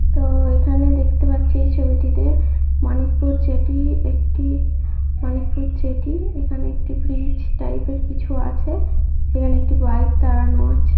তো-- এখানে দেখতে পাচ্ছি ছবিটিতে মানিকপুর জেটি একটি মানিকপুর জেটি এখানে একটি ব্রিজ টাইপ এর কিছু আছে সেখানে একটি বাইক দাড়ানো আছে।